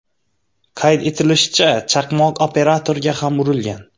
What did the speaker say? Qayd etilishicha, chaqmoq operatorga ham urilgan.